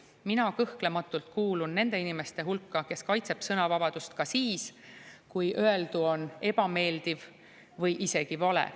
Mina kõhklematult kuulun nende inimeste hulka, kes kaitsevad sõnavabadust ka siis, kui öeldu on ebameeldiv või isegi vale.